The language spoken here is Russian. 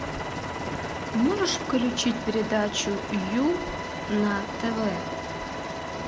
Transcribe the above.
можешь включить передачу ю на тв